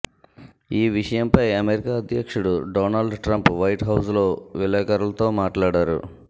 ఈ విషయంపై అమెరికా అధ్యక్షుడు డొనాల్డ్ ట్రంప్ వైట్హౌజ్లో విలేకరులతో మాట్లాడారు